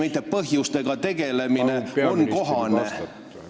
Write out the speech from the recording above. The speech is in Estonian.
... mitte põhjustega tegelemine on kohane?